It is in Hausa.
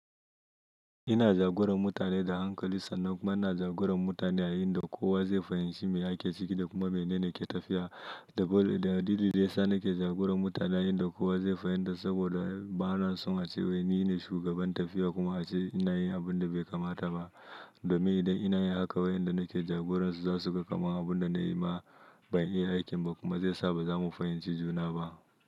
Ina jagoran mutane da hankali sannan kuma ina jagoran mutane a inda kowa zai fahimci me ake ciki da kuma menene ke tafiya. Dalili da yasa nake jagoran mutane a inda kowa zai fahimta saboda ba na son a ce wai ni ne shugaban tafiya kuma a ce ina yin abun da bai kamata ba. Domin idan ina yi haka wai inda nake jagoransu za su ga kamar abun da na yi ma ban yi aikin ba kuma zai sa ba za mu fahimci juna ba.